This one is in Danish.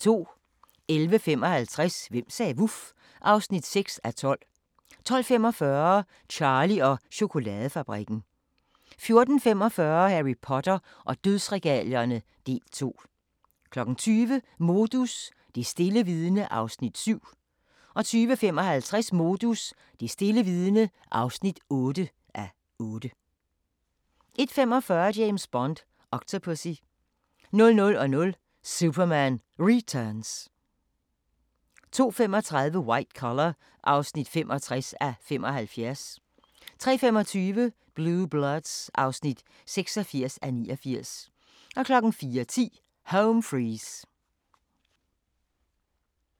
11:55: Hvem sagde vuf? (6:12) 12:45: Charlie og chokoladefabrikken 14:45: Harry Potter og dødsregalierne – del 2 20:00: Modus: Det stille vidne (7:8) 20:55: Modus: Det stille vidne (8:8) 21:45: James Bond: Octopussy 00:00: Superman Returns 02:35: White Collar (65:75) 03:25: Blue Bloods (86:89) 04:10: Home Fries